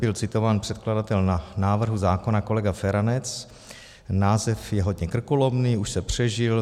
byl citován předkladatel návrhu zákona kolega Feranec: "Název je hodně krkolomný, už se přežil.